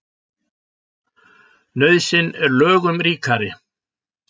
Nauðsyn er lögum ríkari.